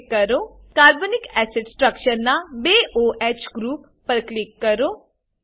carbonic acid carbonic acid structure ના બે o H group પર ક્લિક કરો